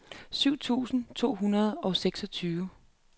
syv tusind to hundrede og seksogtyve